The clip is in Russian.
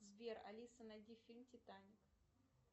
сбер алиса найди фильм титаник